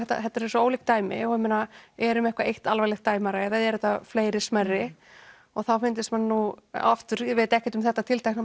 þetta eru svo ólík dæmi er um eitthvað eitt alvarlegt dæmi eða eru þetta fleiri smærri og þá fyndist manni nú aftur ég veit ekkert um þetta tiltekna